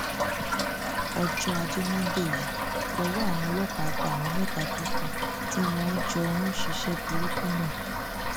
ọjọ ajé monde yìí lowó àwọn ọlọ́pàá bá àwọn mẹta tó kù tí wọn jọ ń ṣiṣẹ burúkú náà